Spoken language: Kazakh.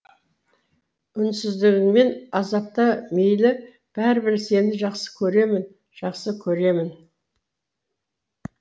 үнсіздігіңмен азапта мейлі бәрібір сені жақсы көремін жақсы көремін